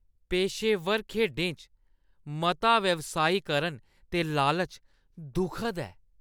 पेशेवर खेढें च मता व्यावसायीकरण ते लालच दुखद ऐ।